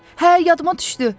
Hə, yadıma düşdü!